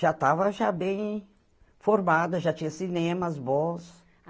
Já estava já bem formada, já tinha cinemas bons.